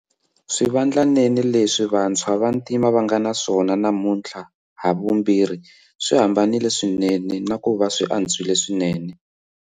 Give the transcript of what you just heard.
Swivandlanene leswi vantshwa va vantima va nga naswona namuntlha havumbirhi swi hambanile swinene na ku va swi antswile swinene.